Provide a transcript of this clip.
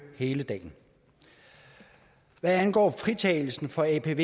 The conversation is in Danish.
hele dagen hvad angår fritagelse fra apv